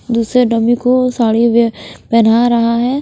दूसरे डमी को साड़ी वह पहना रहा है।